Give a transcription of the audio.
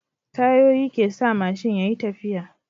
Tayoyi kesa mashin yayi tafiya